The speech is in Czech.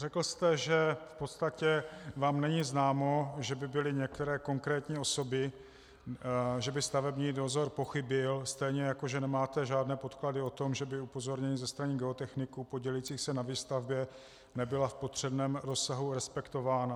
Řekl jste, že v podstatě vám není známo, že by byly některé konkrétní osoby, že by stavební dozor pochybil, stejně jako že nemáte žádné podklady o tom, že by upozornění ze strany geotechniků podílejících se na výstavbě nebyla v potřebném rozsahu respektována.